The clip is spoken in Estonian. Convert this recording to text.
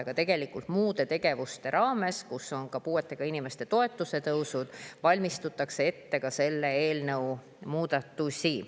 Aga tegelikult muude tegevuste raames, kus on ka puuetega inimeste toetuse tõusud, valmistatakse ette ka selle eelnõu muudatusi.